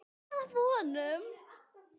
Það var að vonum.